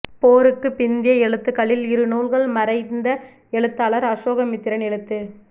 போருக்குப் பிந்திய எழுத்துக்களில் இரு நூல்கள் மறைந்த எழுத்தாளர் அசோகமித்திரன் எழுத்து